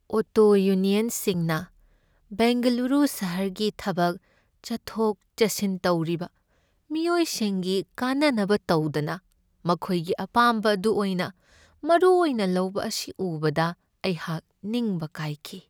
Auto ꯌꯨꯅ꯭ꯌꯟꯁꯤꯡꯅ ꯕꯦꯡꯒꯂꯨꯔꯨ ꯁꯍꯔꯒꯤ ꯊꯕꯛ ꯆꯠꯊꯣꯛ ꯆꯠꯁꯤꯟ ꯇꯧꯔꯤꯕ ꯃꯤꯑꯣꯏꯁꯤꯡꯒꯤ ꯀꯥꯟꯅꯅꯕ ꯇꯧꯗꯅ ꯃꯈꯣꯏꯒꯤ ꯑꯄꯥꯝꯕ ꯑꯗꯨ ꯑꯣꯏꯅ ꯃꯔꯨꯑꯣꯏꯅ ꯂꯧꯕ ꯑꯁꯤ ꯎꯕꯗ ꯑꯩꯍꯥꯛ ꯅꯤꯡꯕ ꯀꯥꯏꯈꯤ꯫